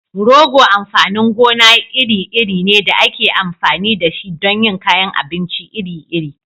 Rogo amfanin gona iri-iri ne da ake amfani da shi don yin kayan abinci iri-iri.